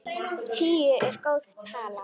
Tíu er góð tala.